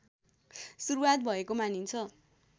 सुरूवात भएको मानिन्छ